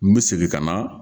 N bɛ segin ka na